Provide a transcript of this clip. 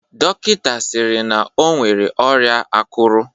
Dọkịnta sịrị na o nwere ọrịa akụrụ.